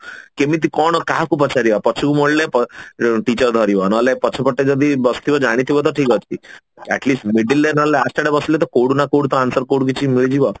କେମିତି କଣ କାହାକୁ ପଚାରିବା ପଛକୁ ମୋଡିଲେ teacher ଧରିବ ନହେଲେ ପଛ ପଟେ ଯଦି ବସିଥିବ ଜାଣିଥିବ ତ ଠିକ ଅଛି at least middle ରେ ନହେଲେ last ଆଡେ ବସିଲେ କୋଉଠୁ ନା କୋଉଠୁ ତ answer କୋଉଠୁ କିଛି ମିଳିଯିବ